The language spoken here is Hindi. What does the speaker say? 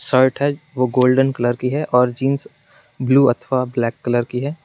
शर्ट गोल्डन कलर की है और जींस ब्लू अथवा ब्लैक कलर की है।